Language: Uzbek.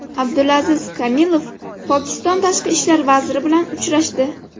Abdulaziz Kamilov Pokiston tashqi ishlar vaziri bilan uchrashdi.